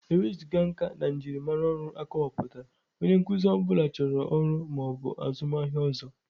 Ewezuga nka na njirimara ọrụ akọwapụtara, onye nkuzi ọ bụla chọrọ ọrụ ma ọ bụ azụmaahịa ọzọ.